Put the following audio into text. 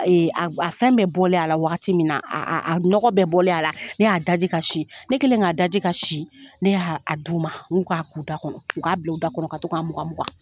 Ayi, a fɛn bɛɛ bɔlen a la wagati min na, nɔgɔ bɛ bɔlen, a la ne y'a da ji, ka si ne kɛlen k'a da ji ka si, ne y'a a du ma, n k'u ka k'u da kɔnɔ, u k'a bil'u da kɔnɔ ka to k'a mugan mugan.